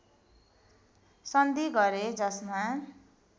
सन्धि गरे जसमा